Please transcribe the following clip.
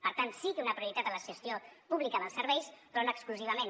per tant sí a una prioritat en la gestió pública dels serveis però no exclusivament